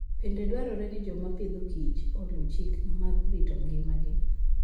Bende dwarore ni joma Agriculture and Food oluw chike mag rito ngimagi.